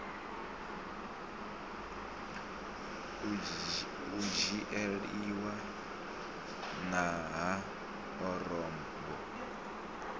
u dzhieliwa nha ha orobo